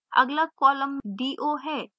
अगला column do है